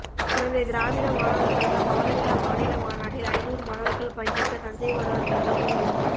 குடந்தை திராவிட மாணவர் கழக பவள விழா மாநில மாநாட்டில் அய்நூறு மாணவர்கள் பங்கேற்க தஞ்சை மாணவர் கழகம் முடிவு